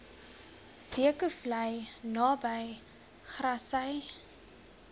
zeekoevlei naby grassy